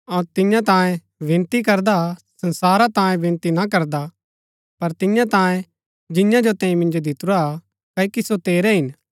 अऊँ तियां तांयें विनती करदा संसारा तांयें विनती ना करदा पर तियां तांयें जियां जो तैंई मिन्जो दितुरा हा क्ओकि सो तेरै हिन